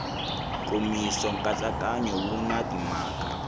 nkomiso nkatsakanyo wu na timhaka